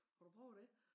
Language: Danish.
Har du prøvet dét?